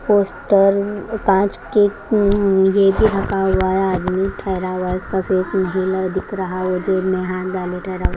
poster उम् कांच के अम्यह भी ढका हुआ हैआदमी ठहरा हुआ है उसका फेस नहीं ल दिख रहा है वो जेब में हाथ डाले ठहरा हु --